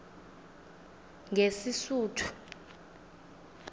ngesisuthu